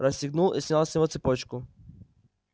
расстегнул и снял с него цепочку